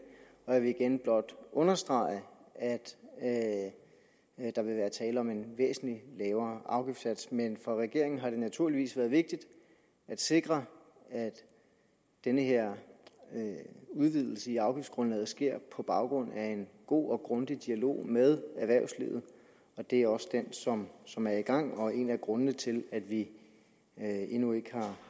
jeg vil igen blot understrege at der vil være tale om en væsentlig lavere afgiftssats men for regeringen har det naturligvis været vigtigt at sikre at den her udvidelse af afgiftsgrundlaget sker på baggrund af en god og grundig dialog med erhvervslivet det er også den som som er i gang og er en af grundene til at vi endnu ikke